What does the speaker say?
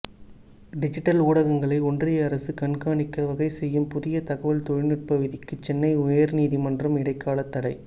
digital ஊடகங்களை ஒன்றிய அரசு கண்காணிக்க வகை செய்யும் புதிய தகவல் தொழில்நுட்ப விதிக்கு சென்னை உயர்நீதிமன்றம் இடைக்கால தடை